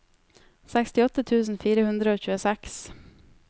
sekstiåtte tusen fire hundre og tjueseks